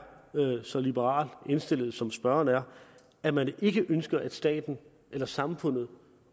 så liberalt indstillet som spørgeren her at man ikke ønsker at staten eller samfundet